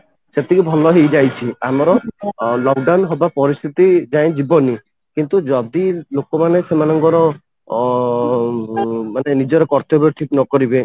ସେତିକି ଭଲ ହେଇଯାଇଛି ଆମର lock down ହବା ପରିସ୍ଥିତି ଯାଏଁ ଯିବନି କିନ୍ତୁ ଯଦି ଲୋକ ମାନେ ସେମାନଙ୍କର ଅମ ମାନେ ନିଜର କର୍ତ୍ତବ୍ୟ ଠିକ ନ କରିବେ